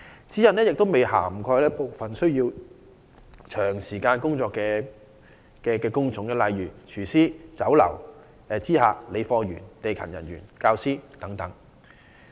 此外，有關指引亦未有涵蓋部分需要長時間站立的工種，例如廚師、酒樓知客、理貨員、地勤人員和教師等。